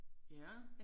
Ja